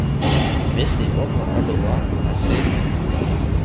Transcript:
mmese wa morwalo wa ase